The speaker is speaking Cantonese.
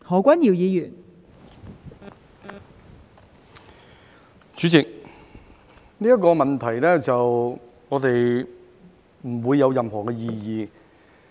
代理主席，對於這個問題，我們不會有任何的異議。